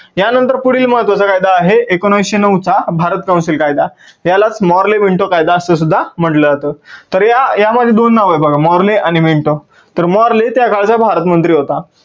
या नंतर पुढील महत्वाचा कायदा आहे एकोनविसशे नऊ चा भारत council कायदा यालाच Morley minto कायदा अस सुद्धा म्हटलं जातं. तर या मध्ये दोन नाव आहेत बघा Morley आणि Minto तर Morley त्या काळचा भारत मंत्री होता.